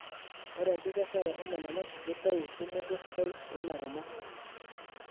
Ore enkikesare omananasi keitayu tumoto sidai tolairemok.